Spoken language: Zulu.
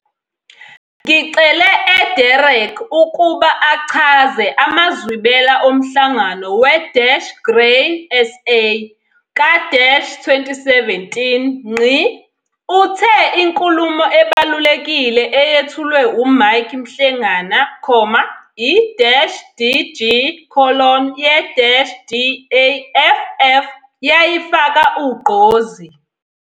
Ngicele e-Derek ukuba achaze amazwibela oMhlangano we-Grain SA ka-2017. Uthe inkulumo ebalulekile eyethulwe uMike Mhlengana, i-DG- ye-DAFF yayifaka ugqozi.